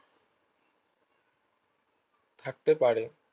থাকতে পারে